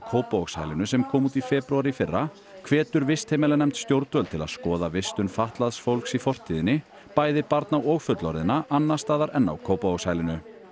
Kópavogshælinu sem kom út í febrúar í fyrra hvetur vistheimilanefnd stjórnvöld til að skoða vistun fatlaðs fólks í fortíðinni bæði barna og fullorðinna annars staðar en á Kópavogshælinu